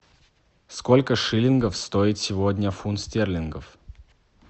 сколько шиллингов стоит сегодня фунт стерлингов